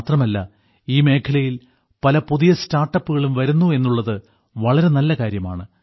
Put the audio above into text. മാത്രമല്ല ഈ മേഖലയിൽ പല പുതിയ സ്റ്റാർട്ടപ്പുകളും വരുന്നു എന്നുള്ളത് വളരെ നല്ല കാര്യമാണ്